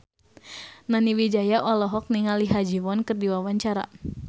Nani Wijaya olohok ningali Ha Ji Won keur diwawancara